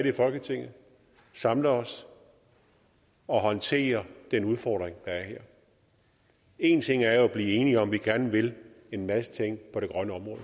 i folketinget samler os og håndterer den udfordring en ting er jo at blive enige om at vi gerne vil en masse ting på det grønne område